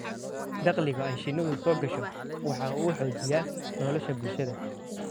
Dakhliga ay shinnidu soo gasho waxa uu xoojiyaa nolosha bulshada.